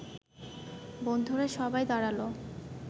বন্ধুরা সবাই দাঁড়াল